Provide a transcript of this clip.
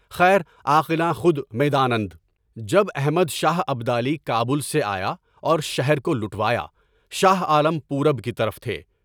خیر عاقلان خود میدانند۔ جب احمد شاہ ابدالی کابل سے آیا اور شہر کو لٹوایا، شاہ عالم پورب کی طرف تھے۔